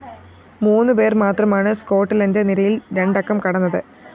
മൂന്നുപേര്‍ മാത്രമാണ്‌ സ്കോട്ട്ലന്റ്‌ നിരയില്‍ രണ്ടക്കം കടന്നത്‌